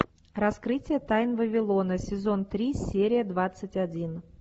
раскрытие тайн вавилона сезон три серия двадцать один